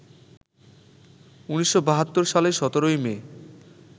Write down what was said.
১৯৭২ সালের ১৭ই মে